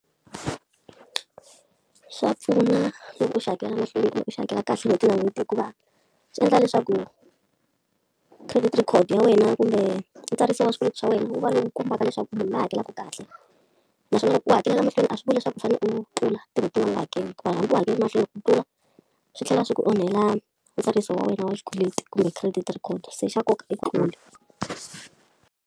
Swa pfuna loko u xi hakela mahlweni kumbe u xi hakela kahle n'hweti na n'hweti, hikuva swi endla leswaku credit record ya wena kumbe ntsariso swikweleti swa wena wu va lowu kombaka leswaku munhu loyi hakelaka ku kahle. Naswona loko u hakelaka mahlweni a swi vuli leswaku u fanele u tlula tin'hweti tin'wana u nga hakeli hikuva hambi u hakelerile mahlweni, ku tlula swi tlhela swi ku onhela ntsariso wa wena wa xikweleti kumbe credit record se xa nkoka .